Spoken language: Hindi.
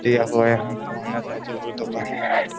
दुकान है।